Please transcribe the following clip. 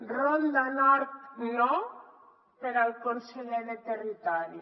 ronda nord no per al conseller de territori